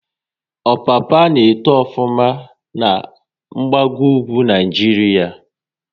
Ọpapa n'eto ofuma na gbago ugwu Naịjiria